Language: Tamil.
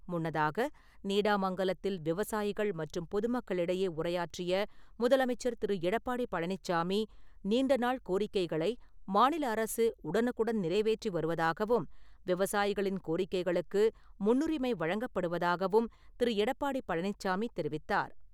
முன்னதாக, நீடாமங்கலத்தில் விவசாயிகள் மற்றும் பொதுமக்களிடையே உரையாற்றிய முதலமைச்சர் திரு. எடப்பாடி பழனிச்சாமி, நீண்ட நாள் கோரிக்கைகளை மாநில அரசு உடனுக்குடன் நிறைவேற்றி வருவதாகவும் ,விவசாயிகளின் கோரிக்கைகளுக்கு முன்னுரிமை வழங்கப் படுவதாகவும் திரு. எடப்பாடி பழனிச்சாமி தெரிவித்தார்.